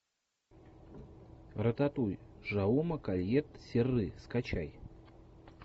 рататуй жауме кольет серры скачай